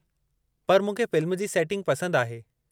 पर मूंखे फ़िल्मु जी सेटिंग पसंदि आहे।